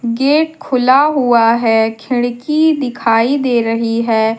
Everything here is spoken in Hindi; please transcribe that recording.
गेट खुला हुआ है खिड़की दिखाई दे रही है।